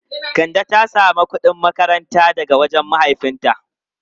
Kande ta samu kudin makaranta daga wajen mahaifinta.